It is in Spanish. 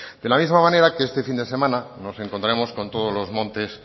de la misma manera que este fin de semana nos encontraremos con todos los montes